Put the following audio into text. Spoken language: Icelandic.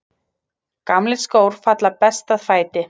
Gamlir skór falla best að fæti.